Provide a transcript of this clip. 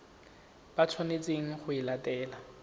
ba tshwanetseng go e latela